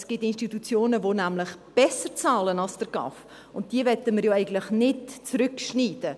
Es gibt nämlich Institutionen, die besser bezahlen als der GAV, und diese möchten wir ja eigentlich nicht zurückbinden.